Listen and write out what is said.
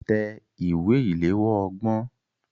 Tẹ ìwé ìléwọ́ ọgbọ̀n.